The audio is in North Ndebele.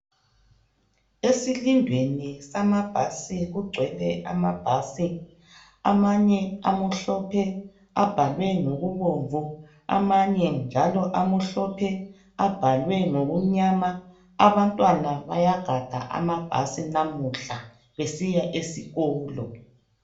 Esilindweni samabhasi kugcwele amabhasi amanye amhlophe abhalwe ngokubomvu amanye njalo amhlophe abhalwe ngokumnyama abantwana bayagada amabhasi namuhla besiya esikolo.